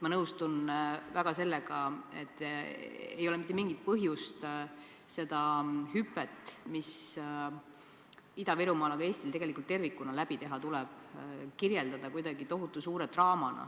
Ma nõustun väga sellega, et ei ole mitte mingit põhjust seda hüpet, mis tuleb läbi teha Ida-Virumaal, aga ka Eestil tervikuna, kirjeldada tohutu suure draamana.